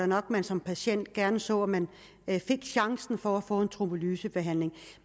nok at man som patient gerne så at man fik chancen for at få en trombolysebehandling